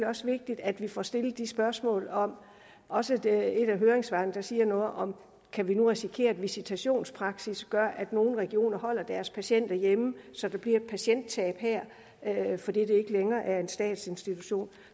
også vigtigt at vi får stillet de spørgsmål om det også et af høringssvarene siger noget om kan vi nu risikere at visitationspraksis gør at nogle regioner holder deres patienter hjemme så der bliver et patienttab her fordi det ikke længere er en statsinstitution